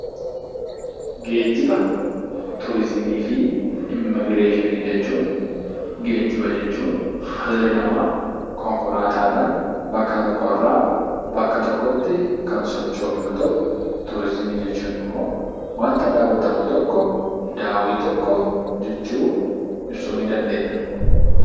Geejjiba, Turizimii fi Immigireeshiniin jechuun geejjiba jechuun dhalli namaa konkolaataadhaan bakka tokko irraa bakka tokkotti kan socho'u yoo ta'u, turizimii jechuun immoo waanta daawwatamu tokko, daawwii tokko jechuun ibsuu ni dandeenya.